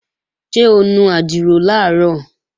Ṣé o nu àdìrò làárọ̀?